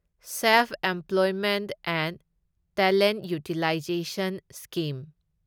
self employment and talent utilization scheme